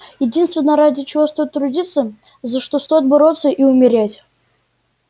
единственное ради чего стоит трудиться за что стоит бороться и умереть